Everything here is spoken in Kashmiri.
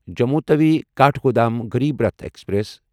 جموں تَوِی کاٹھگودام غریب راٹھ ایکسپریس